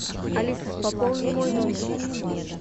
алиса пополни мой номер